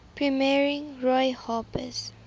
premiering roy harper's